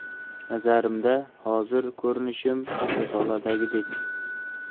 Nazarimda, hozir ko‘rinishim risoladagidek.